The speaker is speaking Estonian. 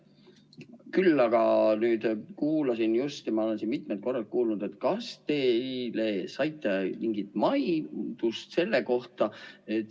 Küll aga nüüd kuulsin just seda ja ma olen siin mitu korda seda kuulnud, kas te olete saanud mingit aimdust selle kohta.